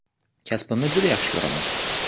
Kasbimni juda yaxshi ko‘raman.